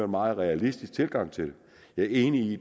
meget realistisk tilgang til det jeg er enig i